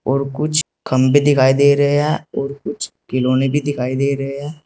और कुछ खम्बे दिखाई दे रहे हैं और कुछ खिलौने भी दिखाई दे रहे हैं।